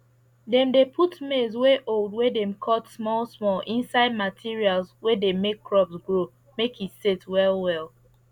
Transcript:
dem dey put maize wey old wey dem cut small small inside materials wey dey make crops grow make e set well well